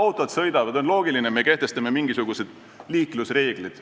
Kui autod sõidavad, siis on loogiline, et me kehtestame mingisugused liiklusreeglid.